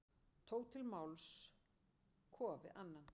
Til máls tók Kofi Annan.